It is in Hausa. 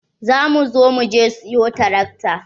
Za mu zo muje siyo tarakta.